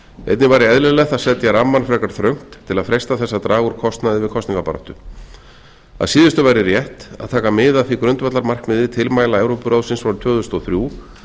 einnig væri eðlilegt að setja rammann frekar þröngt til að freista þess að draga úr kostnaði við kosningabaráttu að síðustu væri rétt að taka mið af því grundvallarmarkmiði tilmæla evrópuráðsins frá tvö þúsund og þrjú